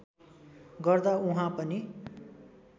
गर्दा उहाँ पनि